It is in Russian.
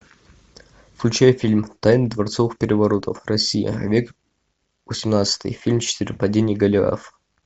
включай фильм тайны дворцовых переворотов россия век восемнадцатый фильм четыре падение голиафа